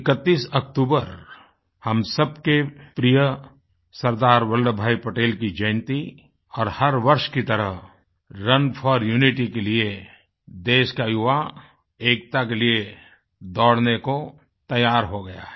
31 अक्तूबर हम सबके प्रिय सरदार वल्लभभाई पटेल की जयन्ती और हर वर्ष की तरह रुन फोर यूनिटी के लिए देश का युवा एकता के लिए दौड़ने को तैयार हो गया है